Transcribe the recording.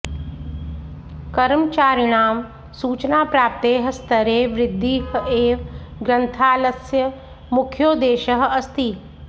कर्मचारिणां सूचनाप्राप्तेः स्तरे वृद्धिः एव ग्रन्थालस्य मुख्योद्देशः अस्ति